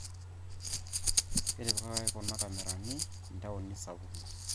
Ketipikaki kuna kamerani intauni sapukin